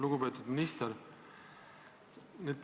Lugupeetud minister!